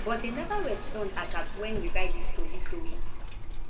but dem neva respond as at wen we write dis tori tori